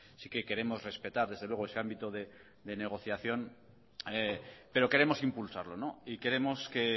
sí que queremos respetar desde luego ese ámbito de negociación pero queremos impulsarlo y queremos que